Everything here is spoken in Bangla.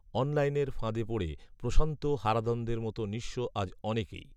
অনলাইনের ফাঁদে পড়ে প্রশান্ত হারাধনদের মতো নিঃস্ব আজ অনেকেই